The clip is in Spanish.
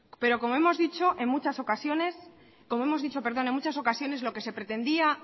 pero como hemos dicho en muchas ocasiones lo que se pretendía